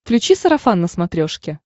включи сарафан на смотрешке